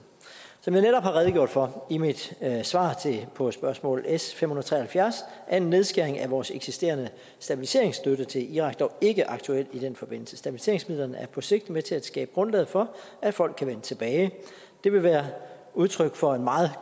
som jeg netop har redegjort for i mit svar på spørgsmål s fem hundrede og tre og halvfjerds er en nedskæring af vores eksisterende stabiliseringsstøtte til irak dog ikke aktuel i den forbindelse stabiliseringsmidlerne er på sigt med til at skabe grundlaget for at folk kan vende tilbage det vil være udtryk for en meget